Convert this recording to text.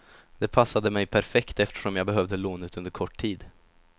Det passade mig perfekt eftersom jag behövde lånet under kort tid.